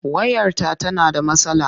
Wayarta tana da matsala.